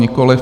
Nikoliv.